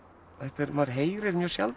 maður heyrir mjög sjaldan